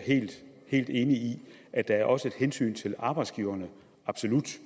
helt enig i at der også er et hensyn til arbejdsgiverne absolut